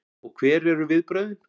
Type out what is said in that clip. Og hver eru viðbrögðin?